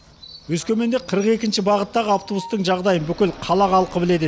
өскеменде қырық екінші бағыттағы автобустың жағдайын бүкіл қала халқы біледі